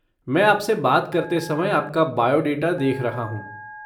मैं आपसे बात करते समय आपका बायोडाटा देख रहा हूँ।